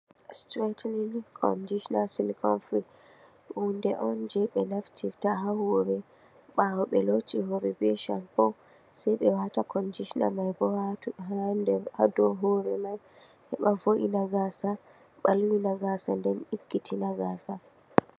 "Strengthening conditioner silicone free" huunde on jey ɓe naftirta ha hoore, ɓaawo ɓe looti hoore bee "shampoo" sey ɓe waata "conditioner" may bo ha dow hoore may, heɓa vo''itina gaasa, ɓalwina gaasa nden ɗiggitina gaasa.